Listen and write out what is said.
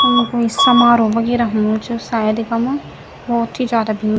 यमु कोई समारोह वगेरह होणु च शायद इखम भौत ही ज्यादा भीड़ --